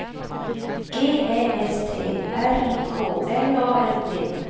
G Ä S T R I K L A N D